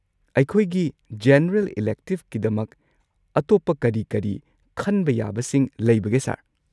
ꯑꯩꯈꯣꯏꯒꯤ ꯖꯦꯅꯔꯦꯜ ꯏꯂꯦꯛꯇꯤꯚꯀꯤꯗꯃꯛ ꯑꯇꯣꯞꯄ ꯀꯔꯤ ꯀꯔꯤ ꯈꯟꯕ ꯌꯥꯕꯁꯤꯡ ꯂꯩꯕꯒꯦ ꯁꯔ?